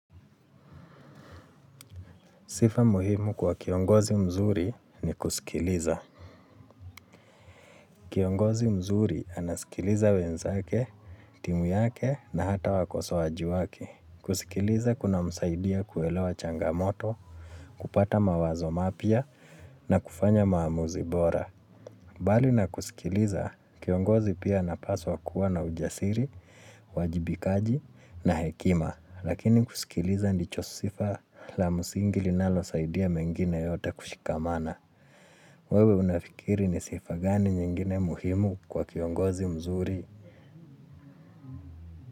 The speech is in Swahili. Sifa muhimu kwa kiongozi mzuri ni kusikiliza. Kiongozi mzuri anasikiliza wenzake, timu yake na hata wakosoaji wake. Kusikiliza kuna msaidia kuelewa changamoto, kupata mawazo mapya na kufanya maamuzi bora. Bali na kusikiliza, kiongozi pia anapaswa kuwa na ujasiri, uajibikaji na hekima, lakini kusikiliza ndicho sifa la msingi linalo saidia mengine yote kushikamana. Wewe unafikiri ni sifa gani nyingine muhimu kwa kiongozi mzuri.